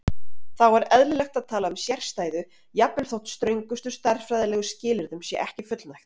Þá er eðlilegt að tala um sérstæðu jafnvel þótt ströngustu stærðfræðilegu skilyrðum sé ekki fullnægt.